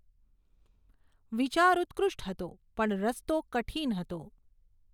વિચાર ઉત્કૃષ્ટ હતો પણ રસ્તો કઠિન હતો.